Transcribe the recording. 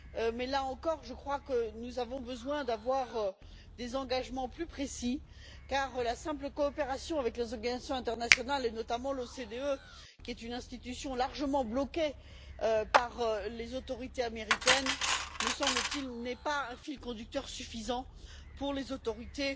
Mais, là encore, je crois que nous avons besoin d'avoir des engagements plus précis, car la simple coopération avec les organisations internationales, et notamment l'OCDE, qui est une institution largement bloquée par les autorités américaines, n'est pas, me semble t il, un fil conducteur suffisant pour les autorités